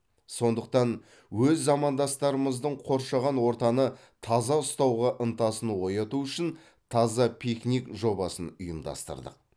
сондықтан өз замандастарымыздың қоршаған ортаны таза ұстауға ынтасын ояту үшін таза пикник жобасын ұйымдастырдық